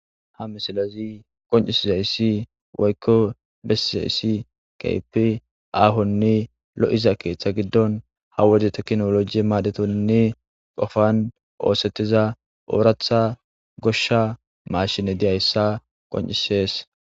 Ha misilezi qoncisizayssi woykko besizayssi keypi aahonne lo7iza keeththa giddon ha wode teknoloji maadhetonnne qofan oosettiza ooratha goshsha maashine diyayssa qoncisees.